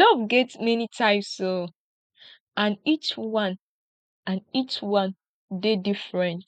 love get many types oo and each one and each one dey different